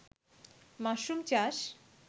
mushroom চাষ